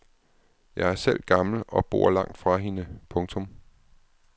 Jeg er selv gammel og bor langt fra hende. punktum